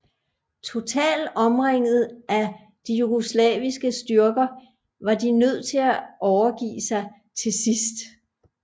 Total omringet af de Jugoslaviske styrker var de nød til at overgive sig til sidst